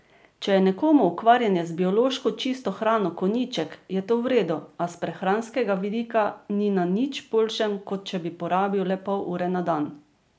Če je nekomu ukvarjanje z biološko čisto hrano konjiček, je to v redu, a s prehranskega vidika ni na nič boljšem, kot če bi porabil le pol ure na dan.